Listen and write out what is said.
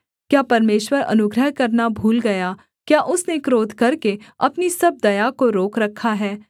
क्या परमेश्वर अनुग्रह करना भूल गया क्या उसने क्रोध करके अपनी सब दया को रोक रखा है सेला